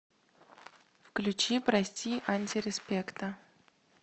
включи прости антиреспекта